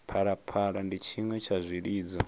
phalaphala ndi tshiṅwe tsha zwilidzo